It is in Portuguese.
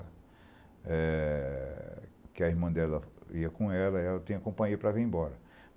Eh... Porque a irmã dela ia com ela e ela tinha companhia para vir embora.